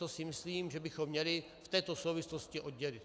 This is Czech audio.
To si myslím, že bychom měli v této souvislosti oddělit.